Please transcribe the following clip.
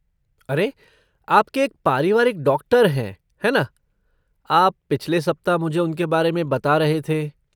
अरे, आपके एक पारिवारिक डॉक्टर हैं, है ना? आप पिछले सप्ताह मुझे उनके बारे में बता रहे थे।